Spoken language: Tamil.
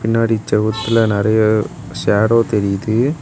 பின்னாடி செவுத்துல நறைய சேடோ தெரியுது.